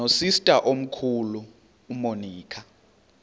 nosister omkhulu umonica